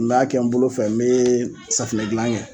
N m'a kɛ n bolo fɛ, n mi safunɛ gilan kɛ